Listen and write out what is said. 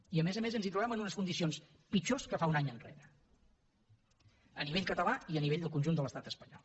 i a més a més ens hi trobem en unes condicions pitjors que fa un any enrere a nivell català i a nivell del conjunt de l’estat espanyol